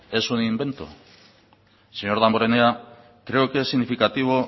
es un invento señor damborenea creo que es significativo